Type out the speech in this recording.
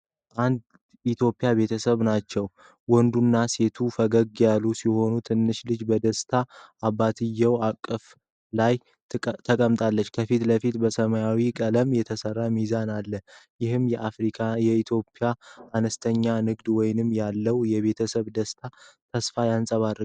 አንድ ኢትዮጵያዊ ቤተሰብ ናቸው። ወንዱና ሴቷ ፈገግታ ያላቸው ሲሆን፣ ትንሹ ልጅ በደስታ አባትየው እቅፍ ላይ ተቀምጧል። ከፊት ለፊት በሰማያዊ ቀለም የተሠራ ሚዛን አለ። ይህም የአፍሪካ/የኢትዮጵያ አነስተኛ ንግድ ውስጥ ያለውን የቤተሰብ ደስታና ተስፋ ያንጸባርቃል።